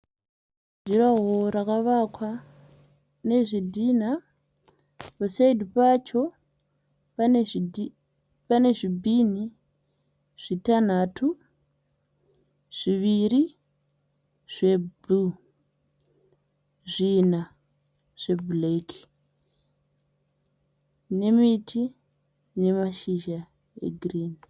Jurahoro rakavakwa nezvidhina, pasaidhi pacho pane zvibhini zvitanhatu, zviviri zvebhuruu, zvina zve bhureki. Nemiti ine mashizha egirinhi.